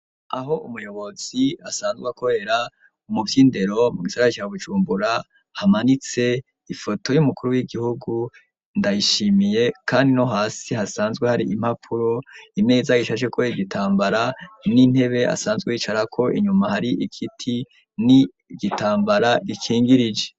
Aho umuyobozi asanzwe akorera mu vy'indero mu gitara ca Bujumbura, hamanitse ifoto y'umukuru w'igihugu Ndayishimiye kandi no hasi hasanzwe hari impapuro, imeza ishasheko igitambara n'intebe asanzwe yicarako inyuma hari igiti n'igitambara gikingirije